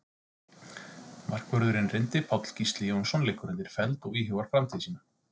Markvörðurinn reyndi Páll Gísli Jónsson liggur undir feld og íhugar framtíð sína.